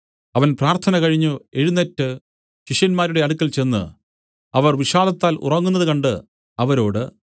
അവൻ പ്രാർത്ഥന കഴിഞ്ഞു എഴുന്നേറ്റ് ശിഷ്യന്മാരുടെ അടുക്കൽ ചെന്ന് അവർ വിഷാദത്താൽ ഉറങ്ങുന്നത് കണ്ട് അവരോട്